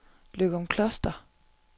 Løgumkloster